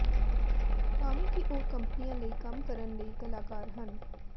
ਭਾਵੇਂ ਕਿ ਉਹ ਕੰਪਨੀਆਂ ਲਈ ਕੰਮ ਕਰਨ ਲਈ ਕਲਾਕਾਰ ਹਨ